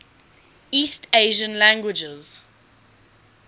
east asian languages